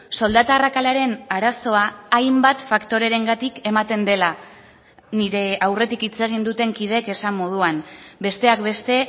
soldata arrakalaren arazoa hainbat faktorerengatik ematen dela nire aurretik hitz egin duten kideek esan moduan besteak beste